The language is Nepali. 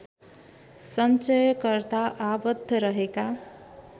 सञ्चयकर्ता आबद्ध रहेका